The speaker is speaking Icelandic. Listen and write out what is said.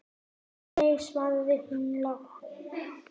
Nei, svaraði hún lágt.